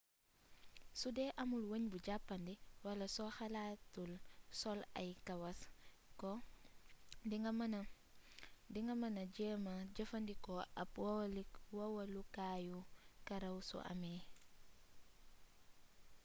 sudee amul weñ bu jàppandi wala soo xalaatul sol ay kawaas ko di nga mëna jéema jëfandikoo ab wowalukaayu karaw su amee